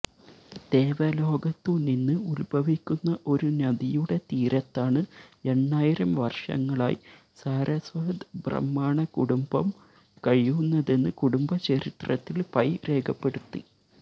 ദേവലോകത്തുനിന്ന് ഉത്ഭവിക്കുന്ന ഒരു നദിയുടെ തീരത്താണ് എണ്ണായിരം വര്ഷങ്ങളായി സാരസ്വത് ബ്രാഹ്മണ കുടുംബം കഴിയുന്നതെന്ന് കുടുംബ ചരിത്രത്തില് പൈ രേഖപ്പെടുത്തി